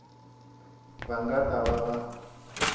va nga ta va va